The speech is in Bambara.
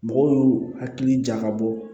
Mɔgɔw y'u hakili jagabɔ